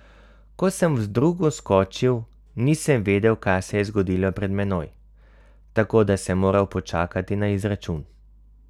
Ko sem vdrugo skočil, nisem vedel, kaj se je zgodilo pred menoj, tako da sem moral počakati na izračun.